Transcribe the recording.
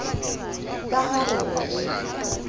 ka ha re ne re